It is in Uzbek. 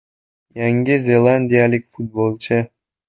Yangi zelandiyalik futbolchi.